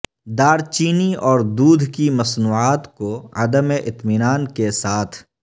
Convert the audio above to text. دار چینی اور دودھ کی مصنوعات کو عدم اطمینان کے ساتھ